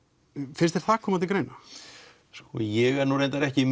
finnst þér það koma til greina sko ég er reyndar ekki